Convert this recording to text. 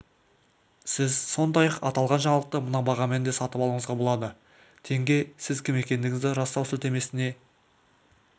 сіз сондай-ақ аталған жаңалықты мына бағамен де сатып алуыңызға болады тенге сіз кім екендігіңізді растау сілтемесіне